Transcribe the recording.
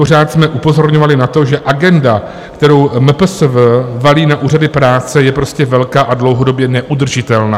Pořád jsme upozorňovali na to, že agenda, kterou MPSV valí na Úřad práce, je prostě velká a dlouhodobě neudržitelná.